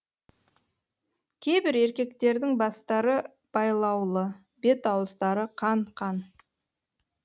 кейбір еркектердің бастары байлаулы бет ауыздары қан қан